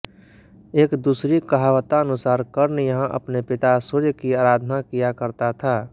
एक दूसरी कहावतानुसार कर्ण यहां अपने पिता सूर्य की आराधना किया करता था